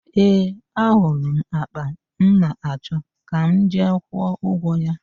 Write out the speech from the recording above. Ee, ahụrụ m àkpà m na-achọ; ka m jee kwụọ ụgwọ ya.